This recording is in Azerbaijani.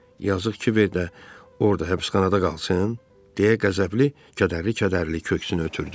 Yazıq Kiber də orda həbsxanada qalsın, deyə Qəzəbli kədərli-kədərli köksünü ötürdü.